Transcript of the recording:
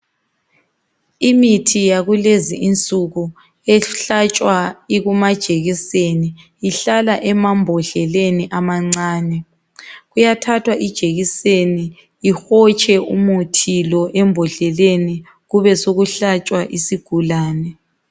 Imithi yakulezi insuku ehlatshwa ikumajekiseni ihlala emambodleleni amancane. Kuyathathwa ijekiseni ihotshe umuthi lo embodleleni kube sokuhlatshwa isigulane.